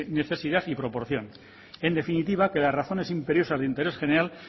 necesidad y proporción en definitiva que las razones imperiosas de interés general